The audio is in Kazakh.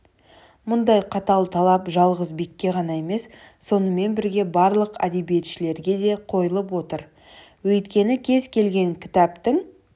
мұндай қатал талап жалғыз бекке ғана емес сонымен бірге барлық әдебиетшілерге де қойылып отыр өйткені кез келген кітаптың